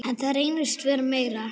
En það reynist vera meira.